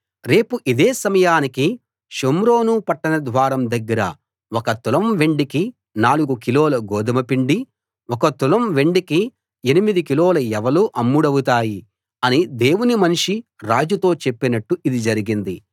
రేపు ఇదే సమయానికి షోమ్రోను పట్టణ ద్వారం దగ్గర ఒక తులం వెండికి నాలుగు కిలోల గోదుమ పిండీ ఒక తులం వెండికి ఎనిమిది కిలోల యవలూ అమ్ముడవుతాయి అని దేవుని మనిషి రాజుతో చెప్పినట్టు ఇది జరిగింది